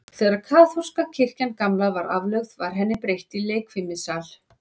Þegar kaþólska kirkjan gamla var aflögð, var henni breytt í leikfimisal.